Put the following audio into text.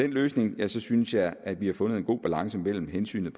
løsning synes jeg at vi har fundet en god balance mellem hensynet